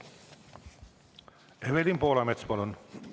Evelin Poolamets, palun!